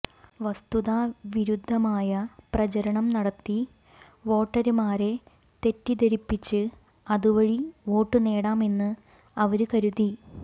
വസ്തുതാവിരുദ്ധമായ പ്രചരണം നടത്തി വോട്ടര്മാരെ തെറ്റിദ്ധരിപ്പിച്ച് അതുവഴി വോട്ടുനേടാം എന്ന് അവര് കരുതി